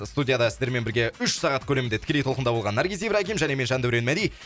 студияда сіздермен бірге үш сағат көлемде тікелей толқында болған наргиз ибрагим және мен жандәурен мәди